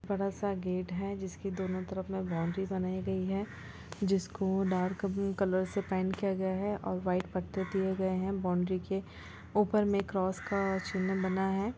बडा सा गेट है जिसके दोनों तरफ में बाउंड्री बनाई गई है जिसको डार्क पिंक कलर से पैंट किया गया है और वाइट पत्ते दिए गए है बाउंड्री के ऊपर में क्रॉस का चिन्ह बना है।